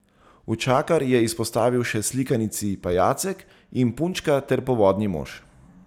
Učakar je izpostavil še slikanici Pajacek in punčka ter Povodni mož.